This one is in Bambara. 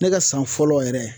Ne ka san fɔlɔ yɛrɛ